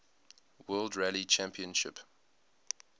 world rally championship